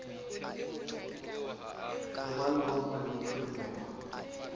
ho ba yuropa le bophirimela